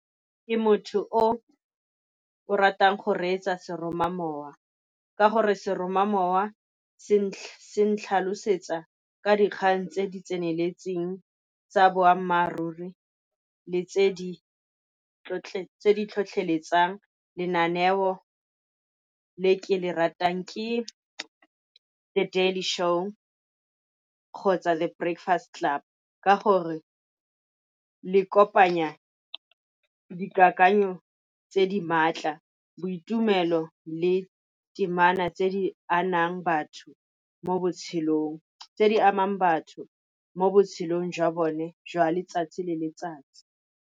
Ke motho o o ratang go reetsa seromamowa. Ka gore seromamowa se ntlhalosetsa ka dikgang tse di tseneletseng tsa boammaaruri, le tse di tlhotlheletsang. Lenaneo ka le ke le ratang ke The Daily Show kgotsa The Breakfast Club, ka gore le kopanya dikakanyo tse di maatla boitumelo le temana , tse di amang batho mo botshelong jwa bone jwa letsatsi le letsatsi.